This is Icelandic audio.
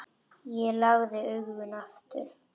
Ég lagði augun aftur.